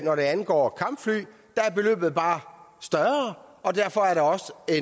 når det angår kampfly beløbet er bare større og derfor er der også et